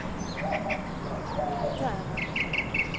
militära